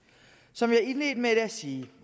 som jeg indledte med at sige